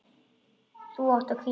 Þú átt að hvíla þig.